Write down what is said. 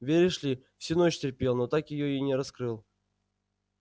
веришь ли всю ночь терпел но так её и не раскрыл